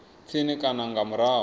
tsini na kana nga murahu